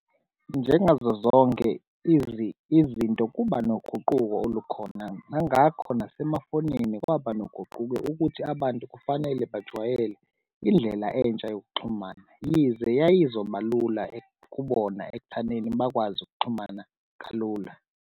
Njengazo zonke izinto, kuba noguquko olukhona nangakho nasemafonini kwaba noguquko ukuthi abantu kufanele bajwayele indlela entsha yokuxhumana, yize yayizobalula kubona ekuthaneni bakwazi ukuxhumana kalula.